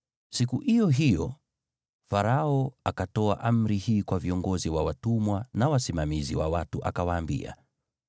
Siku iyo hiyo Farao akatoa amri hii kwa viongozi wa watumwa na wasimamizi wa watu akawaambia: